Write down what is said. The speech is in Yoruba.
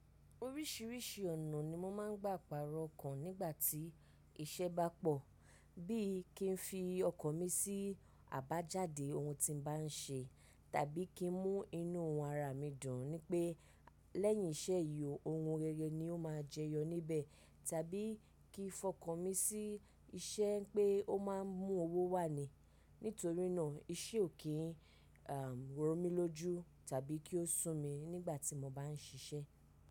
Oríṣìíríṣìí ọ̀nà ni mo máa ń gbà paro ọkàn nígbà tí iṣẹ́ bá pọ̀. Bí i kí n fi ọkàn mi sí àbájáde ohun tí mo bá ń ṣe, tàbí kí ń mú inú ara mi dùn wípé lẹ́yìn iṣẹ́ yìí, ohun rere ni ó máa jẹyọ níbẹ̀, tàbí kí n fọkàn mi sí iṣẹ́ pé ó máa ń mú owó wá ni. Nítorí náà iṣẹ́ ò kí ń ro mi lójú tàbí kí ó sú mi nígbà tí mo bá ń ṣiṣẹ́